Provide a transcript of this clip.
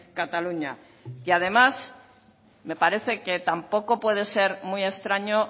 cataluña y además me parece que tampoco puede ser muy extraño